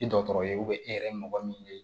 I dɔgɔtɔrɔ ye e yɛrɛ ye mɔgɔ min ye